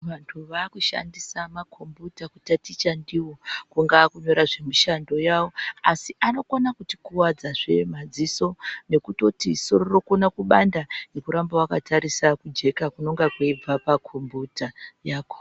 Vanhu vakushandisa makombiyuta kutaticha ndiwo kungaa kunyora zvemushando wayo asi anokona kutikuwadzazve madziso nekutoti soro rinokona kubanda ngekuramba wakatarisa kujeka kunobva pakombiyuta